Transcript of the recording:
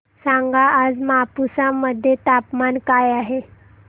सांगा आज मापुसा मध्ये तापमान काय आहे